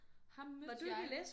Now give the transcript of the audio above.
Ham mødte jeg